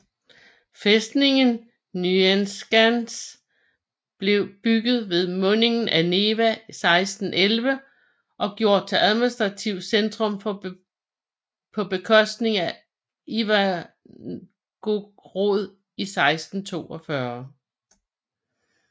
Fæstningen Nyenskans blev bygget ved mundingen af Neva 1611 og gjort til administrativt centrum på bekostning af Ivangorod 1642